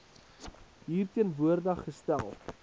hier teenwoordig gestel